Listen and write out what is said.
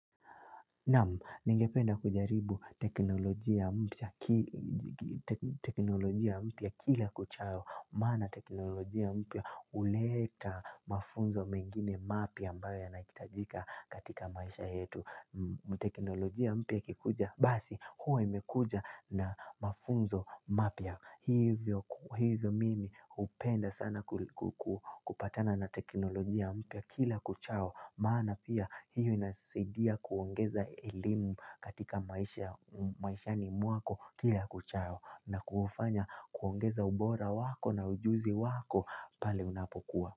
Naam, ningependa kujaribu teknolojia mpya teknolojia mpya kila kuchao. Maana teknolojia mpya huleta mafunzo mengine mapya ambayo yanahitajika katika maisha yetu. Teknolojia mpya ikikuja basi, huwa imekuja na mafunzo mapya. Hivyo mimi hupenda sana kupatana na teknolojia mpya kila kuchao. Maana pia hiyo inasaidia kuongeza elimu katika maisha maishani mwako kila kuchao na kufanya kuongeza ubora wako na ujuzi wako pale unapokuwa.